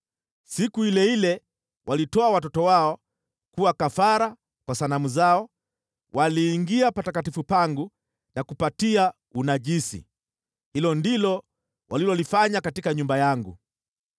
Siku ile ile walitoa watoto wao kuwa kafara kwa sanamu zao, waliingia patakatifu pangu na kupatia unajisi. Hilo ndilo walilolifanya katika nyumba yangu.